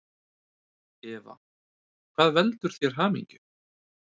Eva: Hvað veldur þér hamingju?